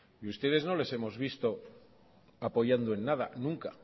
y a ustedes no les hemos visto apoyando en nada nunca